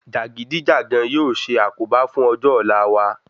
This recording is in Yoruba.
Jàgídíjàgan yóò ṣe àkóbá fún ọjọ́ ọ̀la wa